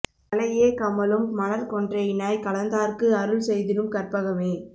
களையே கமழும் மலர்க் கொன்றையினாய் கலந்தார்க்கு அருள் செய்திடும் கற்பகமே